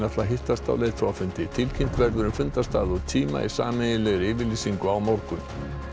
ætla að hittast á leiðtogafundi tilkynnt verður um fundarstað og tíma í sameiginlegri yfirlýsingu á morgun